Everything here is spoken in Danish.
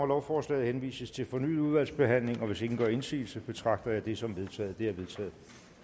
lovforslaget henvises til fornyet udvalgsbehandling hvis ingen gør indsigelse betragter jeg dette som vedtaget det er vedtaget